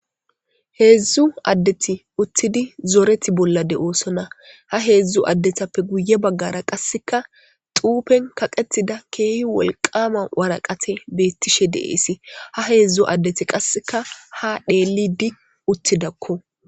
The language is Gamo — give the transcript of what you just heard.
heedzdzu addeti uttidi zooreti bolla de7oosona ha heedzdzu addetappe guye baggara qasseka tuupen kaqetida keehi wolqama waraqate beettishe deeesi ha heedzdzu addeti qasseka ha dheellidi uttidakko